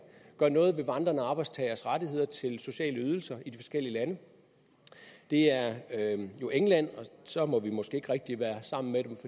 gøre noget ved vandrende arbejdstageres rettigheder til sociale ydelser i de forskellige lande det er jo england og så må vi måske ikke rigtig være sammen med dem